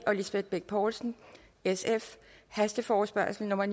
og lisbeth bech poulsen hasteforespørgsel nummer